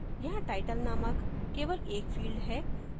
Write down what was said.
यहाँ title नामक केवल एक field है